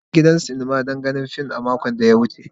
Na je gidan sinima don ganin fim a makon da ya wuce.